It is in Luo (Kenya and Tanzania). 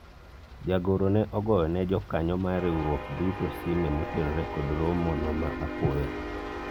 jagoro ne ogoyo ne jokanyo mar riwruok duto sime motenore kod romo no ma apoya